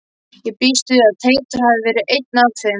Ég býst við að Teitur hafi verið einn af þeim.